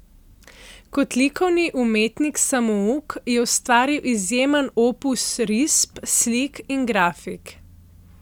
Kot likovni umetnik samouk je ustvaril izjemen opus risb, slik in grafik.